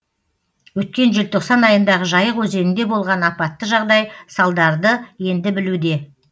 өткен желтоқсан айындағы жайық өзенінде болған апатты жағдай салдарды енді білуде